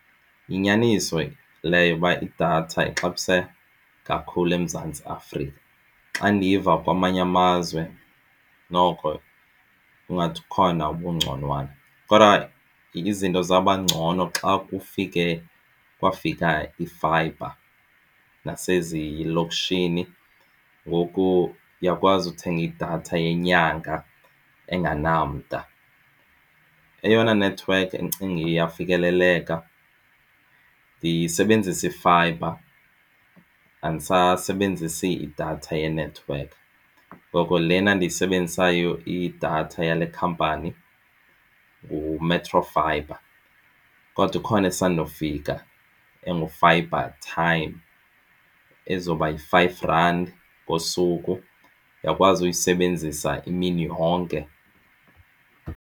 Yinyaniso leyo yoba idatha ixabisa kakhulu eMzantsi Afrika. Xa ndiva kwamanye amazwe noko kungathi ukhona obungconwana. Kodwa izinto zaba ngcono xa kufike kwafika ifayibha nasezilokishini ngoku uyakwazi uthenga idatha yenyanga engenamda. Eyona nethiwekhi endicinga iyafikeleleka ndisebenzisa ifayibha andisasebenzisi idatha yenethiwekhi. Ngoko lena endiyisebenzisayo idatha yale khampani nguMetro fibre. Kodwa ikhona esandokufika engu-fibre time ezoba yi-five rand ngosuku uyakwazi uyisebenzisa imini yonke.